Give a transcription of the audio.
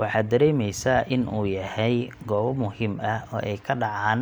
waxaa dareemeysaa in uu yahay goobo muhiim ah oo ay ka dhacaan